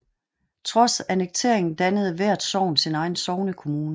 Trods annekteringen dannede hvert sogn sin egen sognekommune